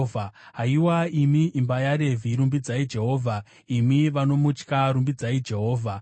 Haiwa imi imba yaRevhi, rumbidzai Jehovha; imi vanomutya, rumbidzai Jehovha.